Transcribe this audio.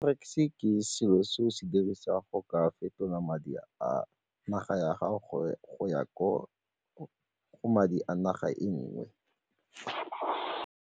Forex-e ke selo se o se dirisang go ka fetola madi a naga ya gago go ya ko madi a naga e nngwe.